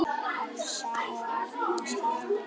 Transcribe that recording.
Elsa og Arnar skildu.